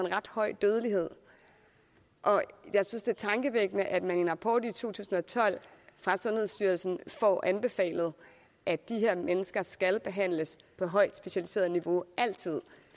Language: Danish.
en ret høj dødelighed jeg synes det er tankevækkende at man i en rapport i to tusind og tolv fra sundhedsstyrelsen får anbefalet at de her mennesker skal behandles på højt specialiseret niveau altid